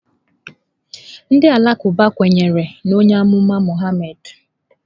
Ndị Alakụba kwenyere na onye amụma Muhammad.